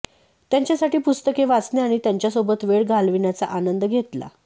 त्यांच्यासाठी पुस्तके वाचणे आणि त्यांच्यासोबत वेळ घालविण्याचा आनंद घेतला